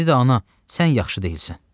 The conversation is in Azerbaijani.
İndi də ana, sən yaxşı deyilsən.